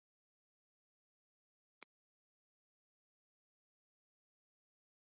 Þá dóu hinar kulvísu plöntur tertíertímabilsins út og áttu ekki afturkvæmt enda Ísland orðið eyja.